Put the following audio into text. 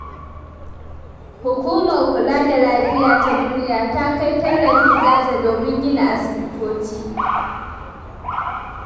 Hukumar kula da lafiya ta duniya ta kai tallafi Gaza, domin gina asibitoci.